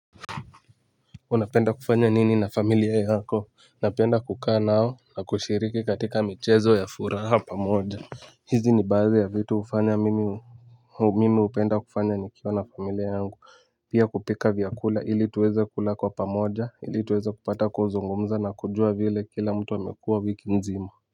Unapenda kufanya nini na familia yako napenda kukaa nao na kushiriki katika michezo ya furaha pamoja. Hizi ni baathi ya vitu ufanya mimi. Mimi upenda kufanya nikiwa na familia yangu pia kupika vyakula ili tuweze kula kwa pamoja ili tuweze kupata kuzungumza na kujua vile kila mtu amekua wiki mzima.